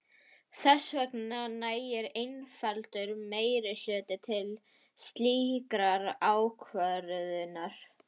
Þess vegna nægir einfaldur meirihluti til slíkrar ákvörðunar.